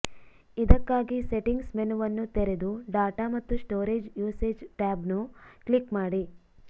ಇದಕ್ಕಾಗಿ ಸೆಟಿಂಗ್ಸ್ ಮೆನುವನ್ನು ತೆರೆದು ಡಾಟಾ ಮತ್ತು ಸ್ಟೋರೇಜ್ ಯೂಸೇಜ್ ಟ್ಯಾಬ್ನ್ನು ಕ್ಲಿಕ್ ಮಾಡಿ